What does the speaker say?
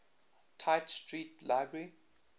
tite street library